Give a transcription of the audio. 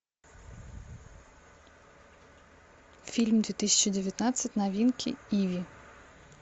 фильм две тысячи девятнадцать новинки иви